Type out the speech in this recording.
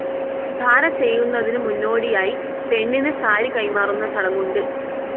ധാര ചെയ്യുന്നതിനു മുന്നോടിയായി പെണ്ണിന് സാരി കൈമാറുന്ന ചടങ്ങുണ്ട്.